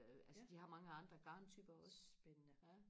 ja spændende